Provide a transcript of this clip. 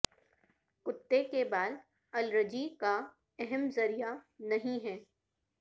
کتے کے بال الرجی کا اہم ذریعہ نہیں ہے